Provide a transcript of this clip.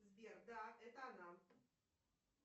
сбер да это она